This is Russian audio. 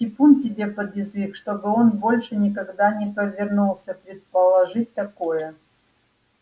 типун тебе под язык чтобы он больше никогда не повернулся предположить такое